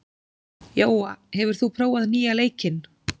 Jóa, hefur þú prófað nýja leikinn?